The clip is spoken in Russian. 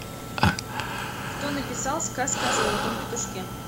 кто написал сказка о золотом петушке